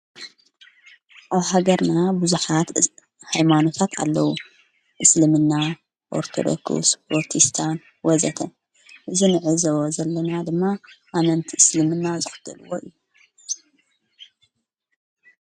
ኦብ ሃገርና ብዙኻት ኃይማኖታት ኣለዉ እስልምና ኦርተዶኩስ ወርቲስታን ወዘተ እንዕዘቦ ዘለና ድማ ኣነንቲ እስልምና ዝኽተልዎ እዩ።